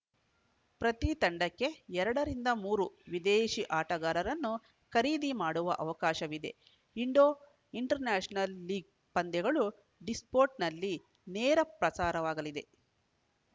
ಪ್ರತಿ ತಂಡಕ್ಕೆ ಎರಡ ರಿಂದ ಮೂರು ವಿದೇಶಿ ಆಟಗಾರರನ್ನು ಖರೀದಿ ಮಾಡುವ ಅವಕಾಶವಿದೆ ಇಂಡೋಇಂಟರ್‌ನ್ಯಾಷನಲ್‌ ಲೀಗ್‌ ಪಂದ್ಯಗಳು ಡಿಸ್ಪೋರ್ಟ್‌ನಲ್ಲಿ ನೇರ ಪ್ರಸಾರವಾಗಲಿದೆ